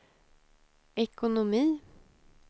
ekonomi